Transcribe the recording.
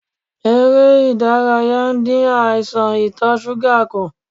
Ère ìdárayá ń dín àìsàn ito suga kù.